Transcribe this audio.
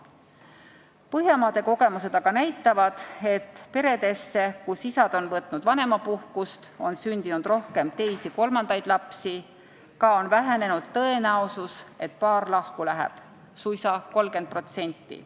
Põhjamaade kogemused aga näitavad, et peredesse, kus isa on võtnud vanemapuhkust, on sündinud rohkem teisi ja kolmandaid lapsi, ka on tõenäosus, et paar lahku läheb, vähenenud suisa 30%.